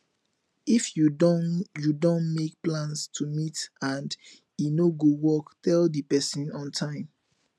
if you don you don make plans to meet and e no go work tell di person on time